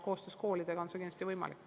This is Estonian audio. Koostöös koolidega on see kindlasti võimalik.